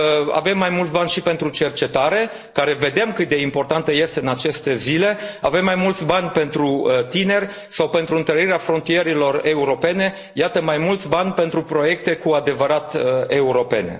Avem mai mulți bani și pentru cercetare, care vedem cât de importantă este în aceste zile, avem mai mulți bani pentru tineri sau pentru întărirea frontierelor europene, iată, mai mulți bani pentru proiecte cu adevărat europene.